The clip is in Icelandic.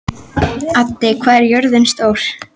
Addi, hvað er jörðin stór?